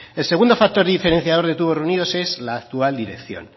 el segundo factor diferenciador de tubos reunidos es la actual dirección